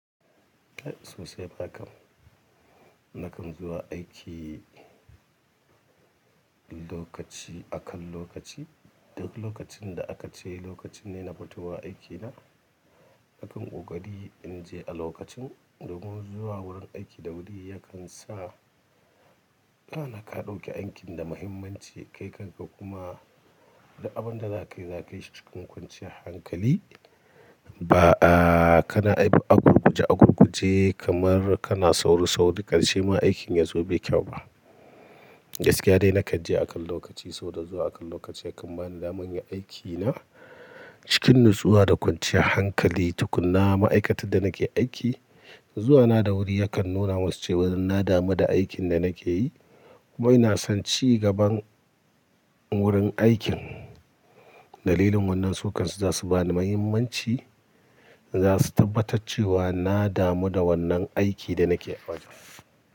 Kai sosai fa kam, nakan zuwa aiki lokaci akan lokaci. Duk lokacin da aka ce lokacin ne na futowa aikina, na ƙan ƙokari in je a lokacin. Domin zuwa wurin aiki da wuri yakan sa kana ka ɗauki aikin da muhimmanci. Kai kanka kuma duk abin da za ka yi za ka yi shi cikin kwanciyar hankali. A a, kana aiki agurguje agurguje kamar kana sauri sauri, karshe ma aikin ya zo bai kyau ba. Gaskiya dai nakan je akan lokaci, sabo da zuwa akan lokaci yakan bani damar in yi aikina cikin nutsuwa da kwanciyar hankali tukunna. Ma'aikatar da nake aiki zuwa na da wuri yakan nuna musu cewa na damu da aikin da nake yi. Wai na san ci gaban wurin aikin. Dalilin wannan su kan su za su bani muhimmanci, za su tabbatar cewa na damu da wannan aikin da nake fata.